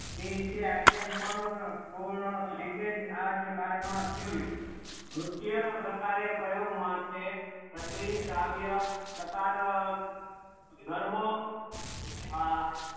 તે રીતે અખ્યે પણ હવે પૂર્ણ તરીકે જ આ જે કાર્ડ માં ખીલ્યું ના પ્રકારે કયો ગુમક છે કાવ્ય પ્રકાર ગરબો આ